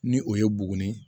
Ni o ye buguni